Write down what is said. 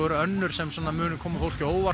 önnur sem koma á óvart